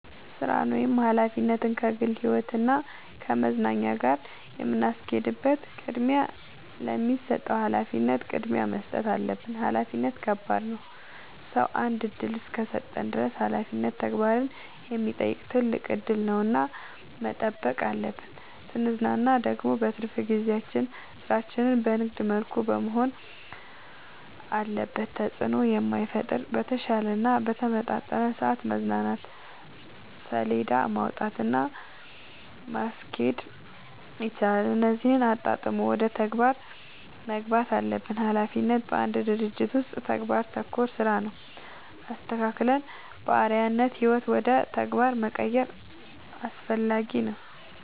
ስራን ወይም ሀላፊነትን ከግል ህይወት እና ከመዝናኛ ጋር የምናስኬድበት ቅድሚያ ለሚሰጠው ሀላፊነት ቅድሚያ መስጠት አለብን። ሀላፊነት ከባድ ነው ሰው አንድ እድል እስከሰጠን ድረስ ሀላፊነት ተግባርን የሚጠይቅ ትልቅ እድል ነው እና መጠበቅ አለብን። ስንዝናና ደግሞ በትርፍ ጊዜያችን ስራችን በንግድ መልኩ መሆን አለበት ተጽዕኖ በማይፈጥር በተሻለ እና በተመረጠ ሰዐት መዝናናት ሴለዳ ማውጣት እና ማስኬድ ይቻላል እነዚህን አጣጥሞ ወደ ተግባር መግባት አለብን። ሀላፊነት በአንድ ድርጅት ውስጥ ተግባር ተኮር ስራ ነው። አስተካክለን በአርዐያነት ህይወት ውደ ተግባር መቀየር አስፈላጊ ነው።